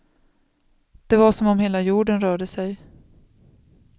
Det var som om hela jorden rörde sig.